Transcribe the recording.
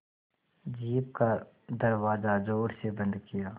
jeep का दरवाज़ा ज़ोर से बंद किया